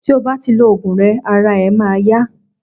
ti o bá ti lo ògùn rẹ ara e ma ya